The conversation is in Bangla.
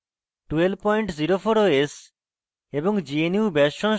ubuntu linux 1204 os এবং